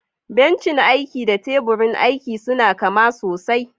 Bencin aiki da teburin aiki suna kama sosai.